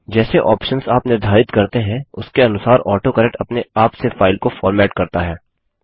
जैसे ऑप्शन्स आप निर्धारित करते हैं उसके अनुसार ऑटोकरेक्ट अपने आप से फाइल को फॉर्मेट करता है